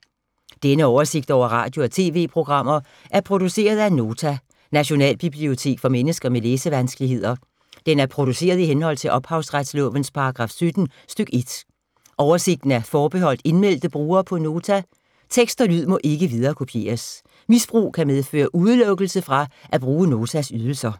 Denne oversigt over radio og TV-programmer er produceret af Nota, Nationalbibliotek for mennesker med læsevanskeligheder. Den er produceret i henhold til ophavsretslovens paragraf 17 stk. 1. Oversigten er forbeholdt indmeldte brugere på Nota. Tekst og lyd må ikke viderekopieres. Misbrug kan medføre udelukkelse fra at bruge Notas ydelser.